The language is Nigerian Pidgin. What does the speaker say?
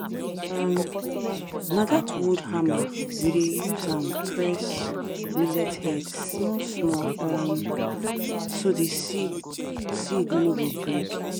um na that wood hammer we dey use am press millet head small small um so the seed seed no go break